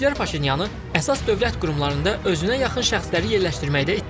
Tənqidçilər Paşinyanı əsas dövlət qurumlarında özünə yaxın şəxsləri yerləşdirməkdə ittiham edir.